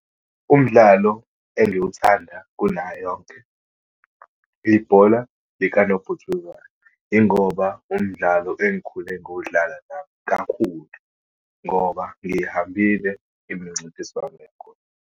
Umdlalo engiwuthanda kunayo yonke, ibhola likanobhutshuzwayo. Yingoba umdlalo engikhule ngiwudlala nami kakhulu, ngoba ngiyihambile imincintiswano yakhona.